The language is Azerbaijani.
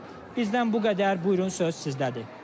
Bizdən bu qədər, buyurun söz sizdədir.